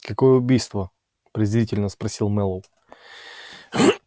какое убийство презрительно спросил мэллоу